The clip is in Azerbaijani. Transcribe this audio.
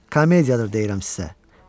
Komediyadır deyirəm sizə.